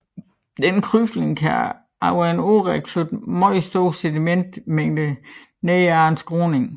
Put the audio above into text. Denne krybning kan over en årrække flytte meget store sedimentmængder ned ad en skråning